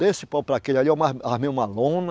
Desse pau para aquele ali eu ma, armei uma lona.